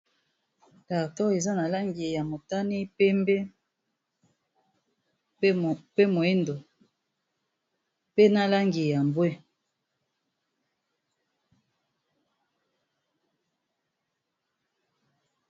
Carton eza na langi ya motani, pembe pe moyindo, pe na langi ya mbwe.